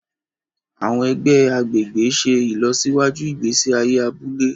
Àwọn ègbé agbègbè ṣe ìlọsíwájú ìgbésí ayé abúlé